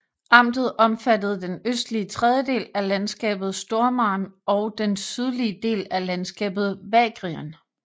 Amtet omfattede den østlige tredjedel af landskabet Stormarn og den sydlige del af landskabet Vagrien